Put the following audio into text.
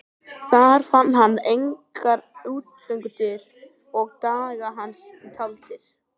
Þar fann hann engar útgöngudyr og dagar hans því taldir.